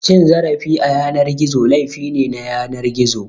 Cin zarafi a yanar gizo, laifi ne na yanar gizo.